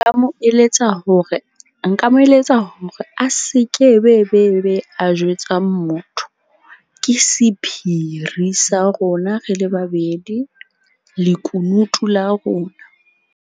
Nka mo eletsa hore nka mo eletsa hore a se ke be be be be a jwetsa motho. Ke sephiri sa rona re le babedi, lekunutu la rona.